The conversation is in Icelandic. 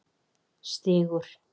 Stígur